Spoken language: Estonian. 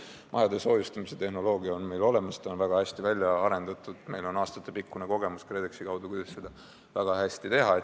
Majade soojustamise tehnoloogia on meil olemas, ta on väga hästi välja arendatud ja meil on aastatepikkune kogemus KredExi kaudu, kuidas seda väga hästi teha.